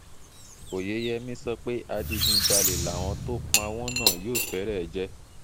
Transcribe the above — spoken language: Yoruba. óyeyèmí sọ pé adigunjalè làwọn tó pa wọ́n náà yóò fẹ́rẹ̀ jẹ́